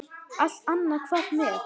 Allt annað hvarf mér.